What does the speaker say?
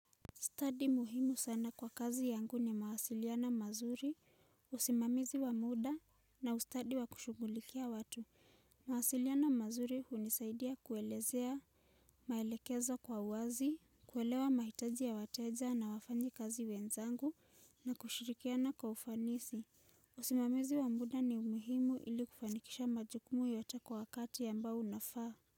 Study muhimu sana kwa kazi yangu ni mawasiliano mazuri, usimamizi wa muda na ustadi wa kushungulikia watu. Mawasiliano mazuri unisaidia kuelezea, maelekezo kwa uwazi, kuelewa mahitaji ya wateja na wafanyikazi wenzangu na kushirikiana kwa ufanisi. Usimamizi wa muda ni umuhimu ili kufanikisha majukumu yote kwa wakati ambao unafaa.